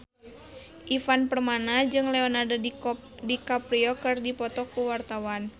Ivan Permana jeung Leonardo DiCaprio keur dipoto ku wartawan